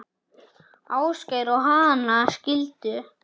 Ásgeir og Hanna skildu.